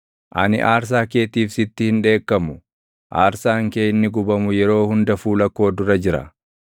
Ani aarsaa keetiif sitti hin dheekkamu; aarsaan kee inni gubamu yeroo hunda fuula koo dura jira.